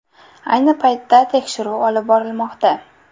Ayni paytda tekshiruv olib borilmoqda.